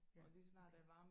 Ja okay